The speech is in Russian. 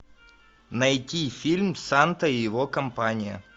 найти фильм санта и его компания